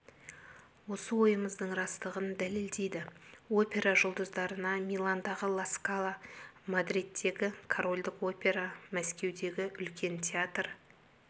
осы ойымыздың растығын дәлелдейді опера жұлдыздарына миландағы ла скала мадридтегі корольдік опера мәскеудегі үлкен театр